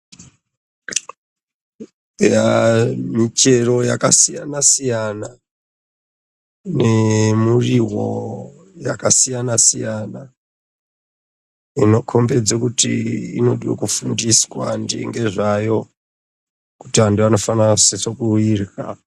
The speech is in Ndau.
Yaa- michero yakasiyanasiyana nemuriwo yakasiyanasiyana inokombedze kuti inode kufundiswa ngezvayo kuti anhu anosise kuirya.